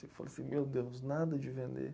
Eu falei assim, meu Deus, nada de vender.